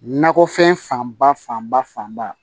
Nakɔfɛn fanba fanba fanba